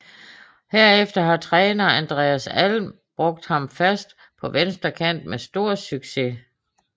Herefter har træner Andreas Alm brugt ham fast på venstre kant med stor succes